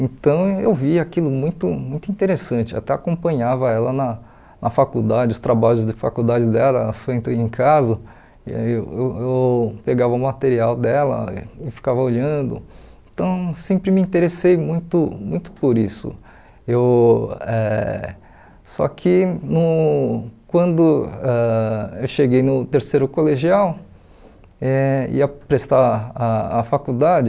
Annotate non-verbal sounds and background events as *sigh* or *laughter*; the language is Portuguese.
então eu vi aquilo muito muito interessante, até acompanhava ela na na faculdade, os trabalhos de faculdade dela, ela *unintelligible* em casa e eu eu eu pegava o material dela e ficava olhando então sempre me interessei muito muito por isso eu eh só que no quando ãh eu cheguei no terceiro colegial eh e ia prestar a a faculdade